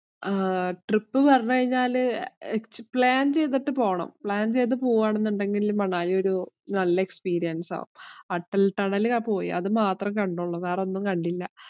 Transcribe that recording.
ആഹ് trip കഴിഞ്ഞാല് plan ചെയ്തിട്ട് പോണം. plan ചെയ്തു പോവുവാണെന്നുണ്ടെങ്കില്‍ മണാലി ഒരു നല്ല experience ആകും. അട്ടല്‍ ടണല്‍ ഒക്കെ പോയി. അതുമാത്രേ കണ്ടുള്ളൂ.